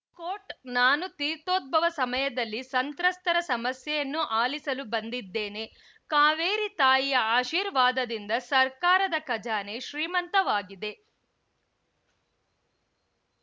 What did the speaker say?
coat ನಾನು ತೀರ್ಥೋದ್ಭವ ಸಮಯದಲ್ಲಿ ಸಂತ್ರಸ್ತರ ಸಮಸ್ಯೆಯನ್ನು ಆಲಿಸಲು ಬಂದಿದ್ದೇನೆ ಕಾವೇರಿ ತಾಯಿಯ ಆಶೀರ್ವಾದದಿಂದ ಸರ್ಕಾರದ ಖಜಾನೆ ಶ್ರೀಮಂತವಾಗಿದೆ